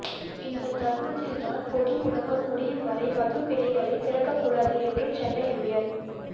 இந்த தருணத்தில்தான் பொதுமுடக்கம் முடியும் வரை மதுக்கடைகளைத் திறக்கக்கூடாது என்று சென்னை உயா்